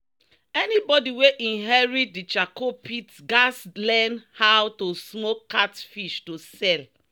"anybody wey inherit di charcoal pit gats learn how to smoke catfish to sell."